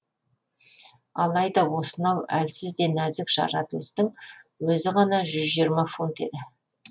алайда осынау әлсіз де нәзік жаратылыстың өзі ғана жүз жиырма фунт еді